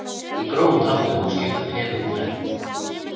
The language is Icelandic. Í grófum dráttum má skipta Perú í þrennt.